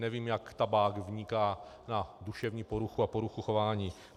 Nevím, jak tabák vniká na duševní poruchu a poruchu chování.